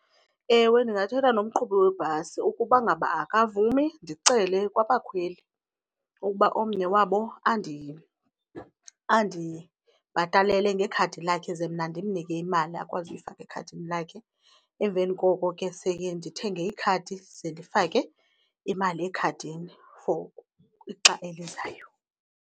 Ewe, ndingathetha nomqhubi webhasi. Ukuba ngaba akavumi ndicele kwabakhweli ukuba omnye wabo andibhatalele ngekhadi lakhe ze mna ndimnike imali akwazi uyifaka ekhadini lakhe. Emveni koko ke seke ndithenge ikhadi ze ndifake imali ekhadini for ixa elizayo.